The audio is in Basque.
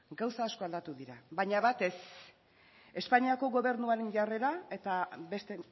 gauza asko aldatu dira baina bat ez espainiako gobernuaren jarrera eta beste